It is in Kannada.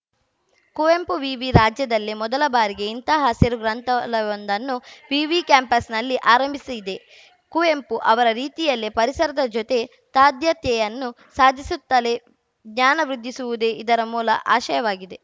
ಕುವೆಂಪು ವಿವಿ ರಾಜ್ಯದಲ್ಲೇ ಮೊದಲ ಬಾರಿಗೆ ಇಂತಹ ಹಸಿರು ಗ್ರಂಥಾಲಯವೊಂದನ್ನು ವಿವಿ ಕ್ಯಾಂಪಸ್‌ನಲ್ಲಿ ಆರಂಭಿಸಿದೆ ಕುವೆಂಪು ಅವರ ರೀತಿಯಲ್ಲಿಯೇ ಪರಿಸರದ ಜೊತೆ ತಾದಾತ್ಯೆಯನ್ನು ಸಾಧಿಸುತ್ತಲೇ ಜ್ಞಾನ ವೃದ್ಧಿಸುವುದೇ ಇದರ ಮೂಲ ಆಶಯವಾಗಿದೆ